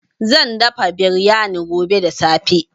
Zan dafa biryani gobe da safe.